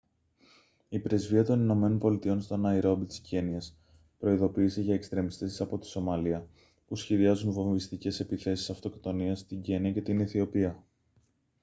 η πρεσβεία των ηνωμένων πολιτειών στο ναϊρόμπι της κένυας προειδοποίησε για «εξτρεμιστές από τη σομαλία» που σχεδιάζουν βομβιστικές επιθέσεις αυτοκτονίας στην κένυα και την αιθιοπία